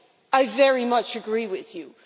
I very much agree with you.